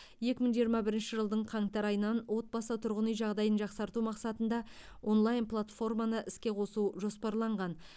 екі мың жиырма бірінші жылдың қаңтар айынан отбасы тұрғын үй жағдайын жақсарту мақсатында онлайн платформаны іске қосу жоспарланған